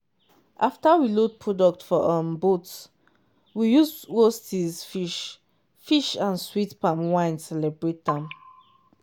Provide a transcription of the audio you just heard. after we load product for um boat we use roastes fish fish and um sweet palm wine celebrate am.